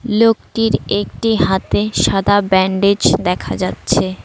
লোকটির একটি হাতে সাদা ব্যান্ডেজ দেখা যাচ্ছে।